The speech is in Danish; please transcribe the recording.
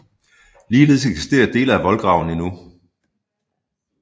Ligeledes eksisterer dele af voldgraven endnu